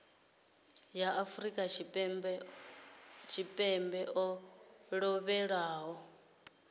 wa afrika tshipembe o lovhelaho